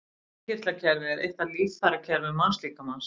Innkirtlakerfi er eitt af líffærakerfum mannslíkamans.